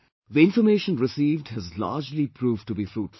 The information received has largely proved to be fruitful